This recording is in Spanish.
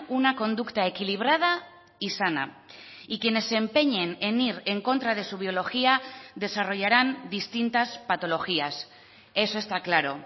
una conducta equilibrada y sana y quienes se empeñen en ir en contra de su biología desarrollarán distintas patologías eso está claro